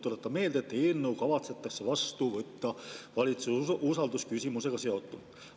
Tuletan meelde, et eelnõu kavatsetakse vastu võtta valitsuse usalduse küsimusega seotult.